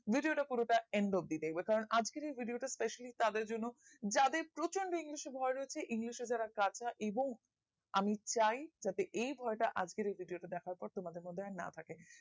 video টা পুরো টা end অব্দি দেখবে কারণ আজকের এই video টা specially তাদের জন্য যাদের প্রচন্ড english এ ভয় রয়েছে english এ যারা কাঁচা এবং আমি চাই যাতে এই ভয় টা আজকের এই video টা দেখার পরে তোমাদের মর্ধে আর না থাকে